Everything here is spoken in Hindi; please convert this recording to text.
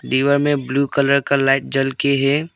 दीवार में ब्लू कलर का लाइट जल के है।